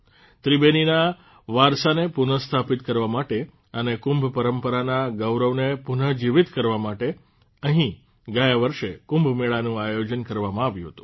ત્રિબેનીના વારસાને પુનઃસ્થાપિત કરવા માટે અને કુંભ પરંપરાના ગૌરવને પુનઃજીવીત કરવા માટે અહિં ગયા વર્ષે કુંભમેળાનું આયોજન કરવામાં આવ્યું હતું